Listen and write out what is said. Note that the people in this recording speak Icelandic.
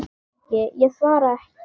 Ég svara ekki.